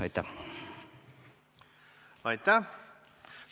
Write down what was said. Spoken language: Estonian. Aitäh!